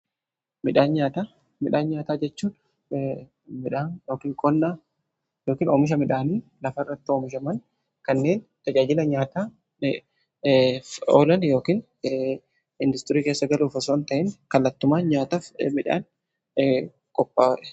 Midhaan nyaataa jechuun qonnan oomisha midhaani lafa irratti oomishaman kanneen tajaajila nyaataaf oolan yookiin industirii keessa galuuf osoon ta'in kallattumaan nyaataaf midhaan qophaa'udha.